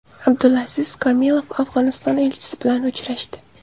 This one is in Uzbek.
Abdulaziz Komilov Afg‘oniston elchisi bilan uchrashdi.